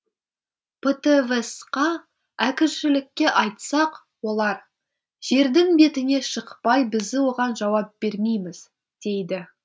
птвс қа әкімшілікке айтсақ олар жердің бетіне шықпай біз оған жауап бермейміз дейді